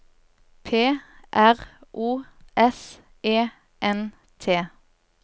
P R O S E N T